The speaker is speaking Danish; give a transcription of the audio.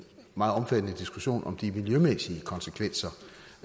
meget omfattende diskussion om de miljømæssige konsekvenser